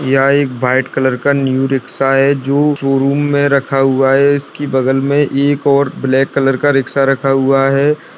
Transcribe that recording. यह एक white colour का न्यू रिक्शा है जो शोरूम में रखा हुआ है और इसकी बगल में एक और ब्लैक रिक्शा रखा हुआ है।